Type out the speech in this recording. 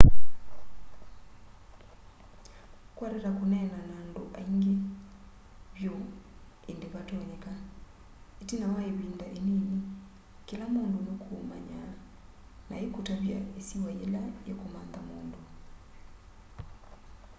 kwa tata kũneena na andũ aĩngĩ vyũ ĩndĩ vatonyeka ĩtina wa ĩvĩnda ĩnĩnĩ kĩla mũndũ nũkũũmanya na aĩkũtavya ĩsĩwa yĩla yĩkũmantha mũndũ